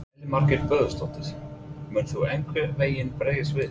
Elín Margrét Böðvarsdóttir: Mun þú einhvern veginn bregðast við?